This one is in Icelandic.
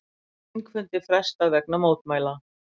Þingfundi frestað vegna mótmæla